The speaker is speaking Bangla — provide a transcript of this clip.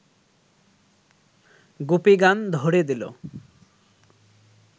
গুপি গান ধ’রে দিল